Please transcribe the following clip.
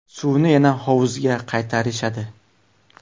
Suvni yana hovuzga qaytarishadi.